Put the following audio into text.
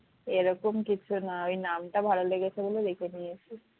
এরকম কিছু না ওই নামটা ভালো লেগেছে বলে রেখে দিয়েছি